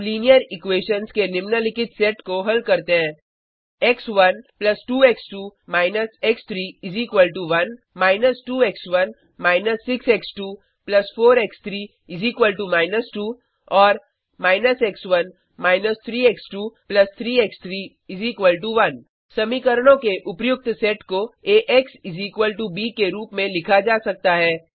अब linear equations के निम्नलिखित सेट को हल करते हैं x one 2 x two − x three 1 −2 x one − 6 x two 4 x three −2 और − एक्स1 − 3 एक्स2 3 एक्स3 1 समीकरणों के उपर्युक्त सेट को एएक्स ब के रूप में लिखा जा सकता है